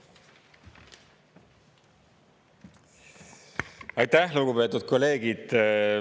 Aitäh, lugupeetud kolleegid!